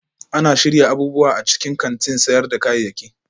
Ana shirya abubuwa a cikin kantin sayar da kayayyaki